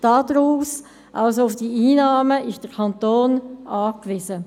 Darauf, also auf diese Einnahmen, ist der Kanton angewiesen.